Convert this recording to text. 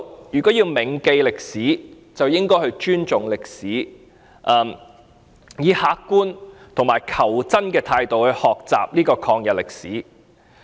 如果要銘記歷史，便應該尊重歷史，以客觀和求真的態度來學習抗日歷史。